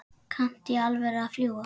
Kanntu í alvöru að fljúga?